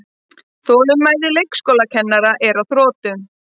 Þolinmæði leikskólakennara er á þrotum